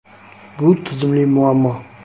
Bu tizimli muammo.